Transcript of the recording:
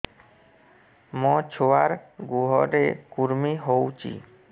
ମୋ ଛୁଆର୍ ଗୁହରେ କୁର୍ମି ହଉଚି